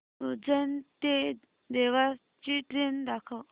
उज्जैन ते देवास ची ट्रेन दाखव